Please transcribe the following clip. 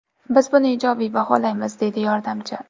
Biz buni ijobiy baholaymiz”, deydi yordamchi.